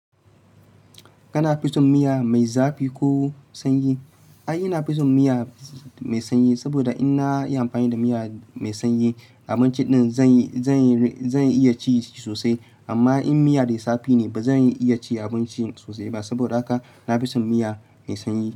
Kana fi son miya mai zafi ko sanyi? Ai, ina fi son miya mai sanyi saboda in na yi amfani da miya mai sanyi, abincin ɗin zan zan iya ci sosai. Amma in miya da zafi ne, ba zan iya cin abincin sosai ba. Saboda haka na fi son miya mai sanyi.